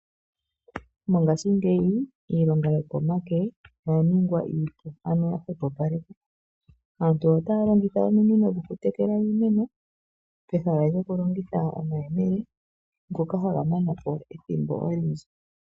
Mongashingeyi iilonga yo komake oya ningwa iipu ano yahwepo paleka. Aantu otaya longitha ominino dhoku tekela iimeno peha lyoku longitha omayemele ngoka haga manapo ethimbo olindji.